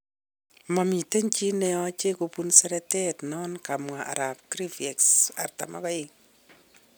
" Momiten chi neyoche kobun seretet non,"kamwa Arap Griveaux 42.